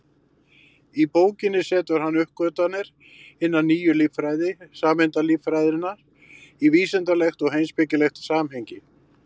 Í bókinni setur hann uppgötvanir hinnar nýju líffræði, sameindalíffræðinnar, í vísindalegt og heimspekilegt samhengi.